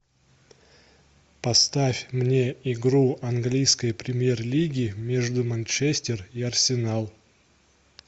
поставь мне игру английской премьер лиги между манчестер и арсенал